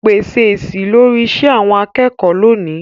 pèsè èsì lórí iṣẹ́ àwọn akẹ́kọ̀ọ́ lónìí.